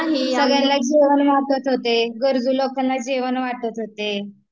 सगळ्यांना जेवण वाटत होते, गरजू लोकांना जेवण वाटत होते